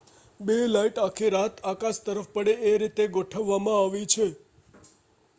બે લાઈટ આખી રાત આકાશ તરફ પડે એ રીતે ગોઠવવામાં આવી છે